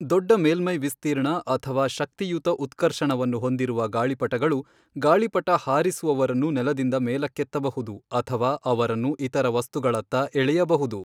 ದೊಡ್ಡ ಮೇಲ್ಮೈ ವಿಸ್ತೀರ್ಣ ಅಥವಾ ಶಕ್ತಿಯುತ ಉತ್ಕರ್ಷಣವನ್ನು ಹೊಂದಿರುವ ಗಾಳಿಪಟಗಳು, ಗಾಳಿಪಟ ಹಾರಿಸುವವರನ್ನು ನೆಲದಿಂದ ಮೇಲಕ್ಕೆತ್ತಬಹುದು ಅಥವಾ ಅವರನ್ನು ಇತರ ವಸ್ತುಗಳತ್ತ ಎಳೆಯಬಹುದು.